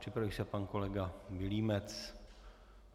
Připraví se pan kolega Vilímec.